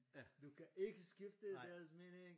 Du kan ikke skifte deres mening